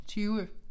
20